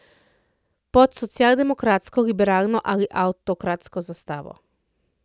Pod socialdemokratsko, liberalno ali avtokratsko zastavo.